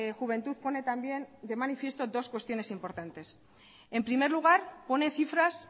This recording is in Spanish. juventud pone también de manifiesto dos cuestiones importantes en primer lugar pone cifras